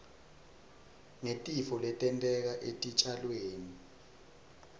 ngetitfo letenteka etitjalweni